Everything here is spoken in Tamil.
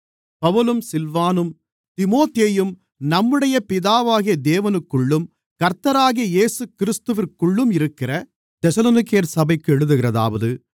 பவுலும் சில்வானும் தீமோத்தேயும் நம்முடைய பிதாவாகிய தேவனுக்குள்ளும் கர்த்தராகிய இயேசுகிறிஸ்துவிற்குள்ளும் இருக்கிற தெசலோனிக்கேயர் சபைக்கு எழுதுகிறதாவது